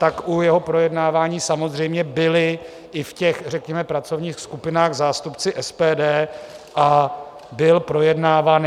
Tak u jeho projednávání samozřejmě byli i v těch řekněme pracovních skupinách zástupci SPD a byl projednáván.